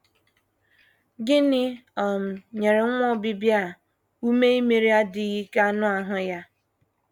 Gịnị um nyere nwa Obibịa a ume imeri adịghị ike anụ ahụ ya?